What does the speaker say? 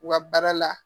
U ka baara la